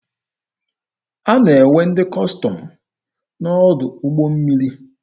A na-enwe ndị Kọstọm n'ọdụ ụgbọ mmiri.